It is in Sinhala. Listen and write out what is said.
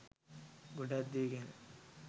ගොඩක් දේ ගැන